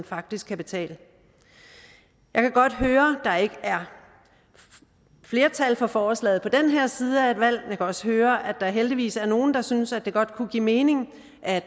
faktisk kan betale jeg kan godt høre at der ikke er flertal for forslaget på den her side af et valg jeg kan også høre at der heldigvis er nogle der synes at det godt kunne give mening at